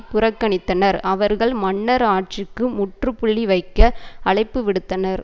புறக்கணித்தனர் அவர்கள் மன்னர் ஆட்சிக்கு முற்றுப்புள்ளி வைக்க அழைப்பு விடுத்தனர்